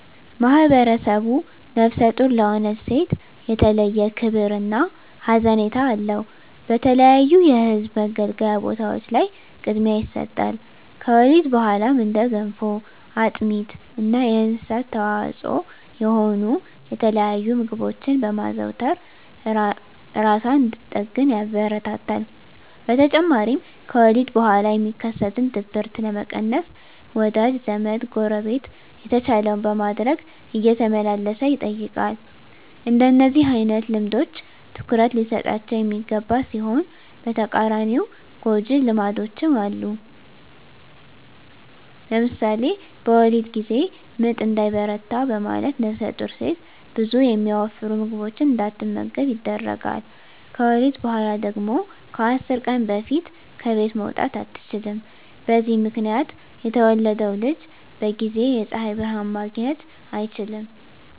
ማህብረሰቡ ነፍሰ ጡር ለሆነች ሴት የተለየ ክብር እና ሀዘኔታ አለው። በተለያዩ የህዝብ መገልገያ ቦታዎች ላይ ቅድሚያ ይሰጣል። ከወሊድ በኋላም እንደ ገንፎ፣ አጥሚት እና የእንስሳት ተዋፅዖ የሆኑ የተለያዩ ምግቦችን በማዘውተር እራሷን እንድትጠግን ያበረታታል። በተጨማሪም ከወሊድ በኋላ የሚከሰትን ድብርት ለመቀነስ ወዳጅ ዘመ፣ ጎረቤት የተቻለውን በማድረግ እየተመላለሰ ይጠይቃል። እንደነዚህ አይነት ልምዶች ትኩረት ሊሰጣቸው የሚገባ ሲሆን በተቃራኒው ጎጅ ልማዶችም አሉ። ለምሳሌ በወሊድ ጊዜ ምጥ እንዳይበረታ በማለት ነፍሰጡር ሴት ብዙ የሚያወፍሩ ምግቦችን እንዳትመገብ ይደረጋል። ከወሊድ በኋላ ደግሞ ከ10 ቀን በፊት ከቤት መውጣት አትችልም። በዚህ ምክንያት የተወለደው ልጅ በጊዜ የፀሀይ ብርሀን ማግኘት አይችልም።